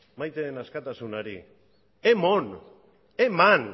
maite den askatasunari emon eman